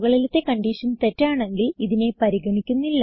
മുകളിലത്തെ കൺഡിഷൻ തെറ്റാണെങ്കിൽ ഇതിനെ പരിഗണിക്കുന്നില്ല